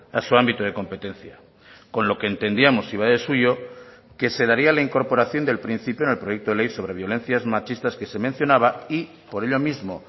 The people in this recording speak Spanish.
a su ámbito de competencia con lo que entendíamos y va de suyo que se daría la incorporación del principio en el proyecto de ley sobre violencias machistas que se mencionaba y por ello mismo